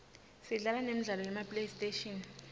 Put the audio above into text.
sidlala nemidlalo yema playstation